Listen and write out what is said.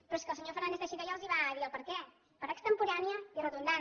però és que el senyor fernández teixidó ja els va dir el perquè per extemporània i redundant